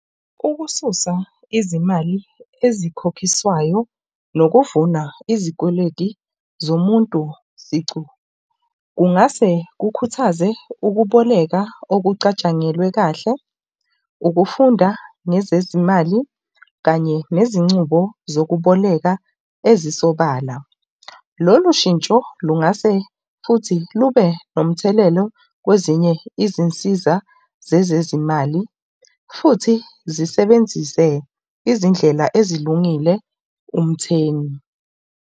Ukususa izimali ezikhokhiswayo nokuvuna izikweleti zomuntu sicu. Kungase kukhuthaze ukuboleka okucatshangelwe kahle, ukufunda nezezimali kanye nezincubo zokuboleka ezisobala. Lolu shintsho lungase futhi lube nomthelelo kwezinye izinsiza zezezimali futhi zisebenzise izindlela ezilungile umthengi.